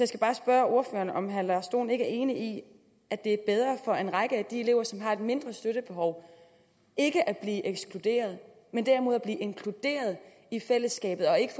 skal bare spørge ordføreren om herre lars dohn ikke er enig i at det er bedre for en række af de elever som har et mindre støttebehov ikke at blive ekskluderet men derimod at blive inkluderet i fællesskabet og ikke